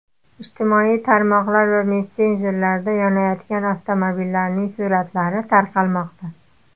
Ijtimoiy tarmoqlar va messenjerlarda yonayotgan avtomobillarning suratlari tarqalmoqda .